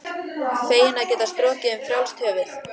Feginn að geta strokið um frjálst höfuð.